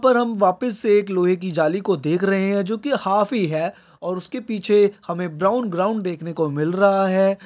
पर हम वापिस से एक लोहे की जाली को देख रहे हैं जो कि हाफ ही है और उसके पीछे हमें ब्राउन ग्राउन्ड देखने को मिल रहा है।